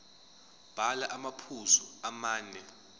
bhala amaphuzu amane